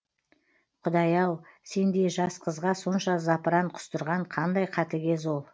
құдай ау сендей жас қызға сонша запыран құстырған қандай қатыгез ол